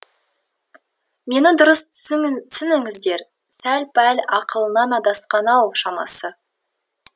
мені дұрыс түсініңіздер сәл пәл ақылынан адасқан ау шамасы